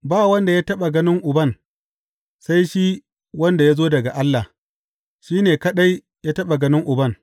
Ba wanda ya taɓa ganin Uban, sai shi wanda ya zo daga Allah; shi ne kaɗai ya taɓa ganin Uban.